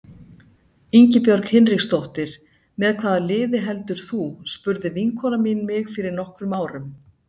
Ingibjörg Hinriksdóttir Með hvaða liði heldur þú? spurði vinkona mín mig fyrir nokkrum árum.